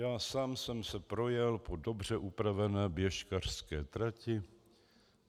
Já sám jsem se projel po dobře upravené běžkařské trati.